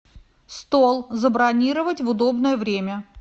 стол забронировать в удобное время